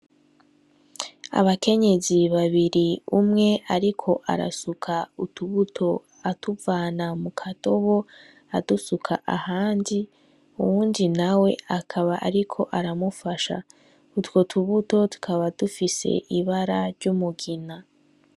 Abakenyezi babiri umwe ariko asuka utubuto atuvana mu kadobo ,adusuka ahandi, uwundi nawe akaba ariko aramufasha. Utwo tubuto tukaba dufise ibara ry'umugina.